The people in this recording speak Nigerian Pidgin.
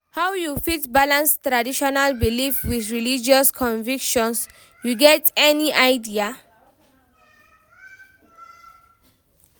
how you fit balance traditional beliefs with religious convictions, you get any idea?